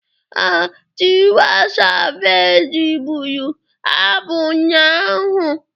Ee, Tiwa Savage bụrụ abụ ụnyaahụ.